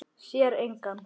Sér engan.